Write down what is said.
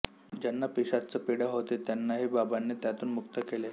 ज्यांना पिशाच्चपीडा होती त्यांनाही बाबांनी त्यातून मुक्त केले